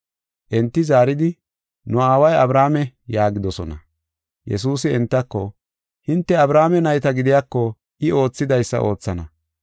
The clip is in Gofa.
Enti zaaridi, “Nu aaway Abrahaame” yaagidosona. Yesuusi entako, “Hinte Abrahaame nayta gidiyako I oothidaysa oothana.